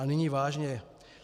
A nyní vážně.